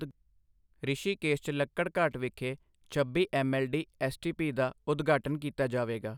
ਰਿਸ਼ੀਕੇਸ਼ 'ਚ ਲੱਕੜਘਾਟ ਵਿਖੇ ਛੱਬੀ ਐੱਮਐੱਲਡੀ ਐੱਸਟੀਪੀ ਦਾ ਉਦਘਾਟਨ ਕੀਤਾ ਜਾਵੇਗਾ।